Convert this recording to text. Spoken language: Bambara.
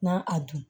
Na a dun